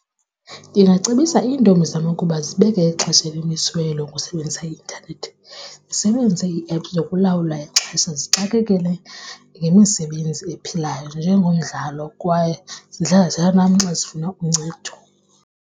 Ndingacebisa iintombi zam ukuba zibeke ixesha elimisiweyo lokusebenzisa i-intanethi, zisebenzise ii-app zokulawula ixesha. Zixakekele ngemisebenzi ephilayo njengomdlalo kwaye zihlala xa zifuna uncedo.